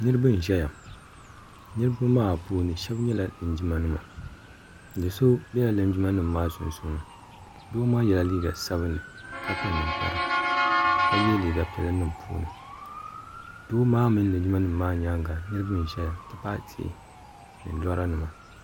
niraba n ʒɛya ŋɔ niraba maa puuni shab nyɛla linjima nima do so biɛla ninjima nim maa sunsuudoo maa yɛla liiga sabinli ka kpa ninkpara ka yɛ liiga piɛlli niŋ di puuni doo maa mini linjima nim maa nyaanga niraba n ʒɛya ni tihi ni lɔra nima